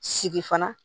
Sigi fana